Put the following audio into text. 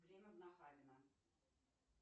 время в нахабино